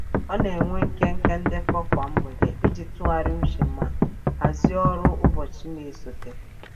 Ọ na-enwe nkenke ndekọ kwa mgbede iji tụgharị uche ma hazị ọrụ ụbọchị na-esote.